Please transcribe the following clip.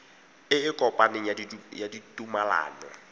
e e kopaneng ya ditumalano